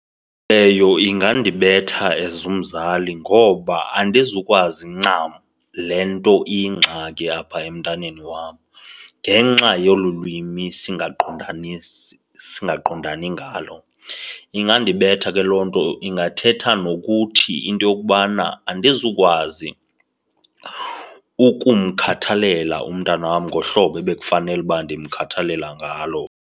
Leyo ingandibetha as umzali ngoba andizukwazi ncam le nto iyingxaki apha emntaneni wam ngenxa yolu lwimi singaqondanisi, singaqindani ngalo. Ingandibetha ke loo nto, ingathetha nokuthi into yokubana andizukwazi ukumkhathalela umntana wam ngohlobo ebekufanele uba ndimkhathalela ngalo.